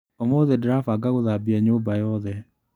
ũmũthĩ ndirabanga gũthambia nyũmba yothe.